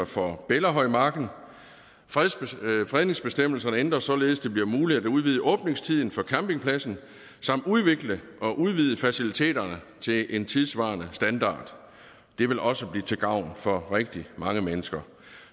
for bellahøjmarken fredningsbestemmelserne ændres således at det bliver muligt at udvide åbningstiden for campingpladsen samt udvikle og udvide faciliteterne til en tidssvarende standard det vil også blive til gavn for rigtig mange mennesker